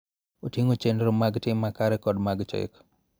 Oting�o chenro mag tim makare kod mag chik.